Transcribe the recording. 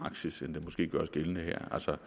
praksis end der måske gøres gældende her altså